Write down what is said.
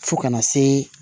Fo kana se